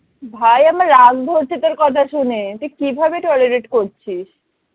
ভাই আমার রাগ ধরছে তোর কথা শুনে তুই কিভাবে tolerate করছিস?